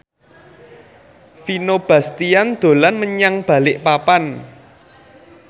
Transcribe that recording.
Vino Bastian dolan menyang Balikpapan